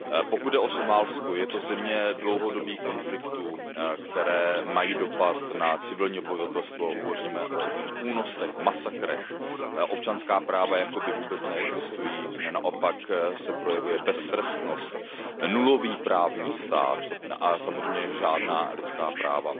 Pokud jde o Somálsko, je to země dlouhodobých konfliktů, které mají dopad na civilní obyvatelstvo. Hovoříme o únosech, masakrech, občanská práva jakoby vůbec neexistují, naopak se projevuje beztrestnost, nulový právní stát a samozřejmě žádná lidská práva.